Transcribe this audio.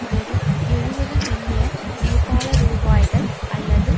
வெறும் எழுபது மில்லியன் நேபாள ரூபாய்கள் அல்லது